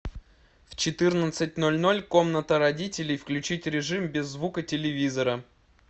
в четырнадцать ноль ноль комната родителей включить режим без звука телевизора